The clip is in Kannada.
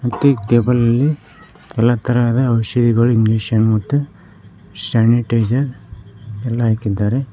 ಮತ್ತು ಈ ಟೇಬಲ್ ನಲ್ಲಿ ಎಲ್ಲಾ ತರಹದ ಔಷದಿಗಳು ಇಂಜೆಕ್ಷನ್ ಮತ್ತು ಸ್ಯಾನಿಟೈಜರ್ ಎಲ್ಲಾ ಇಕ್ಕಿದ್ದಾರೆ.